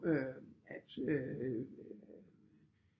Øh at